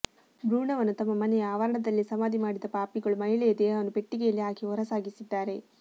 ಭ್ರೂಣವನ್ನು ತಮ್ಮ ಮನೆಯ ಆವರಣದಲ್ಲೇ ಸಮಾಧಿ ಮಾಡಿದ ಪಾಪಿಗಳು ಮಹಿಳೆಯ ದೇಹವನ್ನು ಪೆಟ್ಟಿಗೆಯಲ್ಲಿ ಹಾಕಿ ಹೊರಸಾಗಿಸಿದ್ದಾರೆ